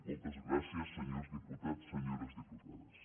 moltes gràcies senyors diputats senyores diputades